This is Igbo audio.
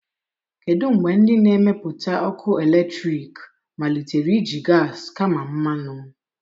Kedu mgbe ndị na-emepụta ọkụ eletrik malitere iji gas kama mmanụ?